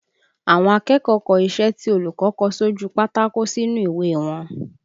Àwọn akẹ́kọ̀ọ́ kọ iṣẹ́ tí olùkọ́ kọ sójú u pátákó sínú ìwé e wọn